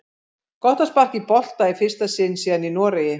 Gott að sparka í bolta í fyrsta sinn síðan í Noregi!